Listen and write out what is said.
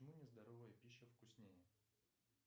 почему нездоровая пища вкуснее